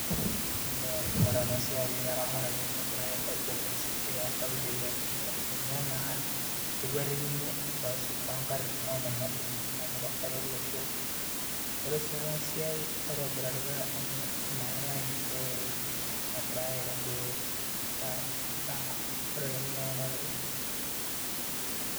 Elee ore ena siai eramatare negirai aibung'aa esidai toonkaulele amu ninye naa ekuatikini toonkatitin oonyamalitin amu kesaru olosho, ore sii ena siai nitobiritai amu meetai enkitoruoto nagirai aitarruoo naa ore ninye kuna tare.